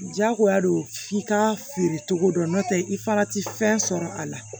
Jagoya don f'i ka feere cogo dɔn n'o tɛ i fana tɛ fɛn sɔrɔ a la